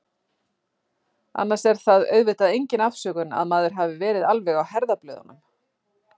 Annars er það auðvitað engin afsökun að maður hafi verið alveg á herðablöðunum.